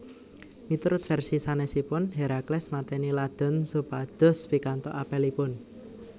Miturut versi sanesipun Herakles mateni Ladon supados pikantuk apelipun